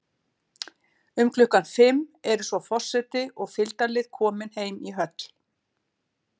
Um klukkan fimm eru svo forseti og fylgdarlið komin heim í höll.